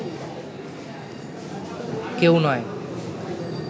কেউ নয়